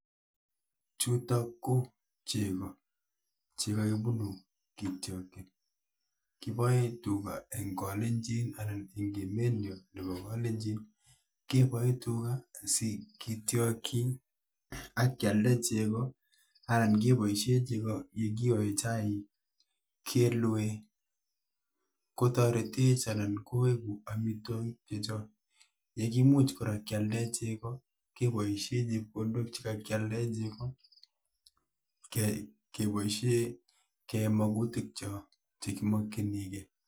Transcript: Chutok ko chego che kagibunu kitiokchin. Kiboe tuga eng kalenjin anan eng emet nyoo nebo kalenjin, keboe tuga asigitiokchi akyalde chego anan keboisie chego yekioe chaik, kelue, kotoretech anan koegu amitwogik chechok. Yekimuch kora kyalde chego keboisie chepkondok chekakyaldae chego keai keboisie kiyoe maguk choo chekimakchinigei.